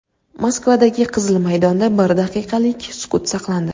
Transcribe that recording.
Moskvadagi Qizil maydonda bir daqiqalik sukut saqlandi.